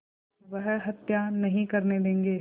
वह हत्या नहीं करने देंगे